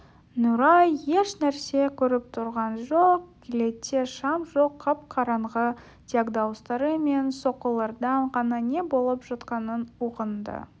нұрай ешнәрсе көріп тұрған жоқ кілетте шам жоқ қап-қараңғы тек дауыстары мен соққылардан ғана не болып жатқанын ұғынды